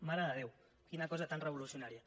mare de déu quina cosa tan revolucionària